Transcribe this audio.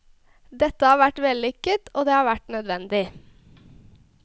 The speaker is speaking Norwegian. Dette har vært vellykket, og det har vært nødvendig.